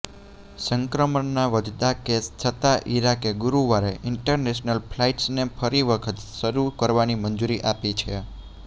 સંક્રમણના વધતા કેસ છતાં ઇરાકે ગુરુવારે ઇન્ટરનેશનલ ફ્લાઇટ્સને ફરી વખત શરૂ કરવાની મંજૂરી આપી છે